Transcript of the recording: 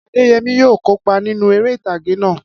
Adéyẹmí yóò kópa nínú eré ìtàgé náà.